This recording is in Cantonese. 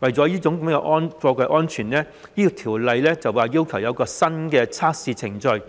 為了貨櫃安全，《條例草案》要求設立一個新的測試程序，